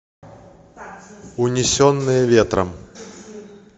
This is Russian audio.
унесенные ветром